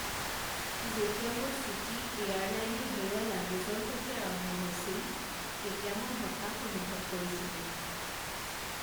যেতিয়া মোৰ ছুটী এয়াৰলাইনে হেৰুৱা লাগেজৰ সৈতে আৰম্ভ হৈছিল, তেতিয়া মই হতাশ অনুভৱ কৰিছিলো।